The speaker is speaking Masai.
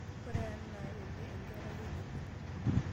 ore ena naa ene enkereai kiti